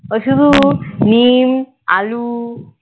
ও শুধু নীম আলু